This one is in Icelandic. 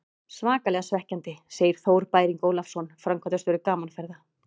Svakalega svekkjandi, segir Þór Bæring Ólafsson, framkvæmdastjóri Gaman Ferða.